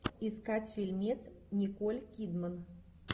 искать фильмец николь кидман